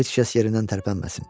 Heç kəs yerindən tərpənməsin.